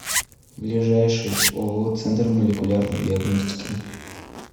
ближайший ооо центр молекулярной диагностики